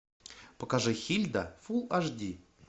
покажи хильда фул аш ди